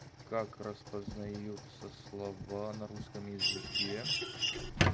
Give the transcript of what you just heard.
как распознаются слова на русском языке